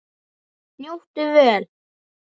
Njóttu vel.